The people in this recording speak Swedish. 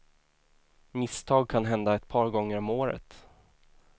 Misstag kan hända ett par gånger om året.